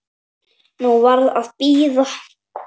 Nú var að bíða.